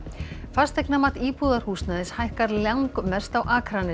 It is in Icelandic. fasteignamat íbúðarhúsnæðis hækkar langmest á Akranesi